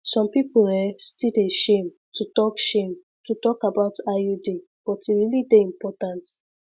some people eh still dey shame to talk shame to talk about iud but e really dey important